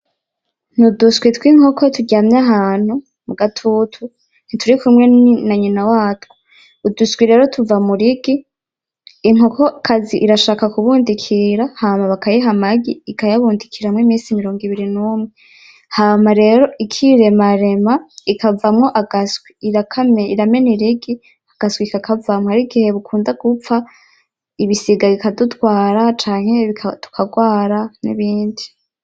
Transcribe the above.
Uduswi tw'inkoko turyamye ahantu mu gatutu, ntiturikumwe na nyina watwo. Uduseke rero tuva mu rigi, inkokokazi irashaka kubundikira hama bakayiha amagi ikayabundikiramwo iminsi mirongo ibiri n'umwe hama rero ikiremarema ikavamwo agaswi, iramena irigi agaswi kakavumwo, hari igihe bukunda gupfa, ibisiga bidutwara canke tukagwara n'ibindi.